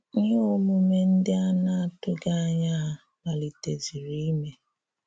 Íhè omume ndị a na-atụ̀ghị ànyà hà malitézìrì ìmé.